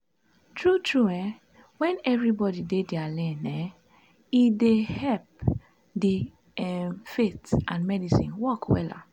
tru tru eh wen everybodi dey dia lane um e dey epp di um faith and medicine work wella